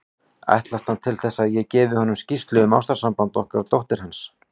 Ætlast hann til þess, að ég gefi honum skýrslu um ástarsamband okkar dóttur hans?